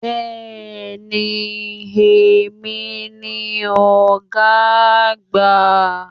Béèni èmi ni ògá àgbà